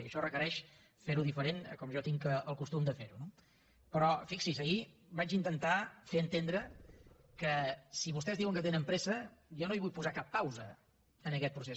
i això requereix ferho diferent a com jo tinc el costum de fer ho no però fixi’s ahir vaig intentar fer entendre que si vostès diuen que tenen pressa jo no hi vull posar cap pausa en aquest procés